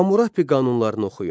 Hamurapi qanunlarını oxuyun.